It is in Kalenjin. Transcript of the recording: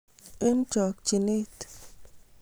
Eng chokchinet